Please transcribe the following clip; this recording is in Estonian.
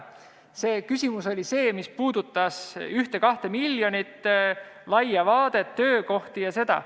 See küsimus puudutas 1–2 miljonit, laia vaadet, töökohti ja seda.